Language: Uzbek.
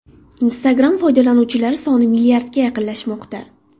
Instagram foydalanuvchilari soni milliardga yaqinlashmoqda.